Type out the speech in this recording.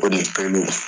O ni peluw